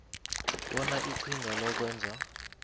bona iqhinga lokwenza